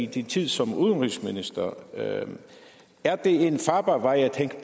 din tid som udenrigsminister er det en farbar vej at